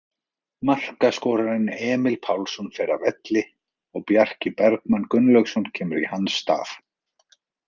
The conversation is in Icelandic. Markaskorarinn Emil Pálsson fer af velli og Bjarki Bergmann Gunnlaugsson kemur í hans stað.